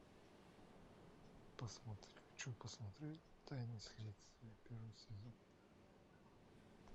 хочу посмотреть тайны следствия первый сезон